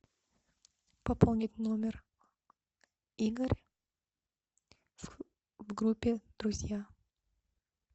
пополнить номер игорь в группе друзья